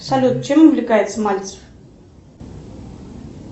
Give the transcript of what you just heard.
салют чем увлекается мальцев